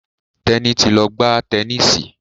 Teni to lọ gbà Tẹníìsì.